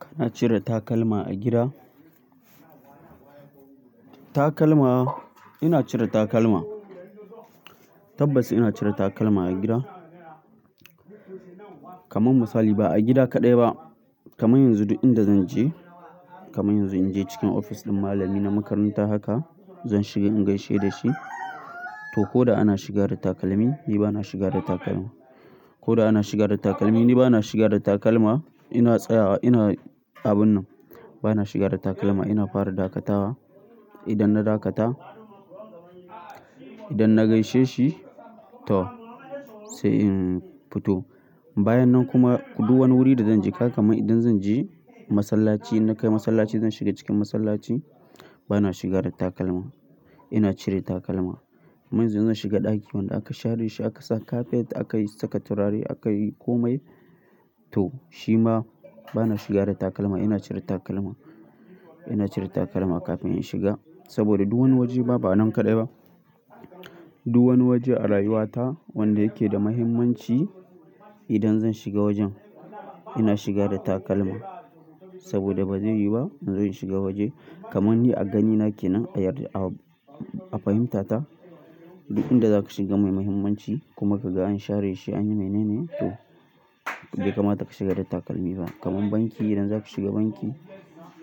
Kana cire takalma a gida? Takalma ina cire takalma. Tabbas ina cire takalma a gida. Kaman misali ba a gida kaɗai ba. Kaman yanzu duk inda zan je kaman yanzu in je cikin ofis ɗin malami na makaranta haka, zan shiga in gaishe da shi. To ko da ana shiga da takalmi, ni ba na shiga da takalma. Ko da ana shiga da takalmi, ni ba na shiga da takalma. Ina tsayawa ina abun nan. Ba na shiga da takalma. Ina fara dakatawa. Idan na dakata, idan na gaishe shi to sai in fito. Bayan nan kuma duk wani wuri da zan je haka kaman idan zan je masallaci, in na kai masallaci zan shiga cikin masallaci. Ba na shiga da takalma. Ina cire takalma. Kaman yanzu zan shiga ɗaki wanda aka share shi aka saka kafet aka yi saka turare aka yi kome. To shi ma ba na shiga da takalma. Ina cire takalma. Ina cire takalma kafin in shiga. Saboda duk wani waje ba, ba a nan kaɗai ba. Duk wani waje a rayuwata wanda yake da muhimmanci idan zan shiga wajen ina shiga da takalma. Saboda ba zai yiwu ba in zo in shiga waje kaman ni a gani nake nan a yarda a fahimta ta duk inda zaka shiga mai muhimmanci kuma kaga an share shi an yi mai naine to bai kamata ka shiga da takalmi ba. Kaman banki idan zaka shiga banki,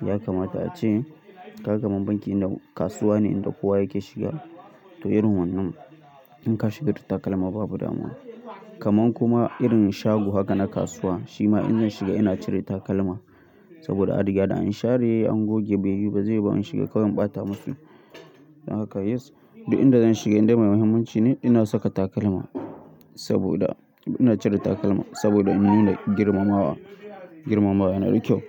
ya kamata ace kaka man banki inda kasuwa ne inda kowa yake shiga to irin wannan in ka shiga da takalma babu damuwa. Kaman kuma irin shago haka na kasuwa shi ma in zan shiga ina cire takalma saboda adiga da an share shi an goge bai yiwu ba zai yiwu ba in shiga kawai in ɓata maki. Haka yes duk inda zan shiga inda mai muhimmanci ne ina saka takalma saboda ina cire takalma saboda in nuna girmamawa, girmamawa yana da kyau.